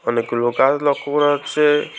অনেকগুলো কাজ লক্ষ করা হচ্ছে।